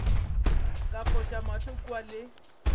ka foša mahlo kua le